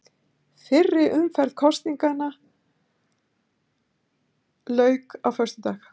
Fyrri umferð kosningarinnar lauk á föstudag